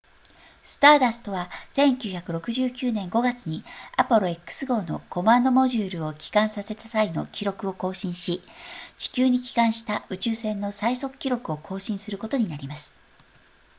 スターダストは1969年5月にアポロ x 号のコマンドモジュールを帰還させた際の記録を更新し地球に帰還した宇宙船の最速記録を更新することになります